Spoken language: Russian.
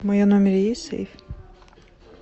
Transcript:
в моем номере есть сейф